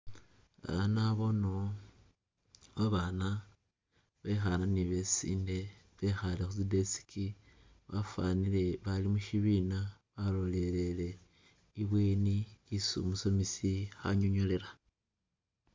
A'a naboonewo babaana bekhaana ne besiinde bekhaale khu tsi desk bafanile abaali mushibiina balolelele ibweni isi umusomesi anyonyolela